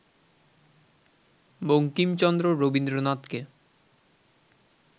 বঙ্কিমচন্দ্র রবীন্দ্রনাথকে